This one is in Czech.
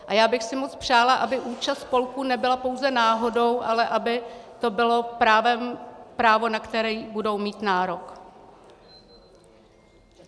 A já bych si moc přála, aby účast spolků nebyla pouze náhodou, ale aby to bylo právo, na které budou mít nárok.